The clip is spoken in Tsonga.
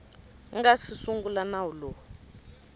nga si sungula nawu lowu